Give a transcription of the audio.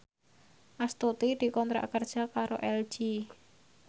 Astuti dikontrak kerja karo LG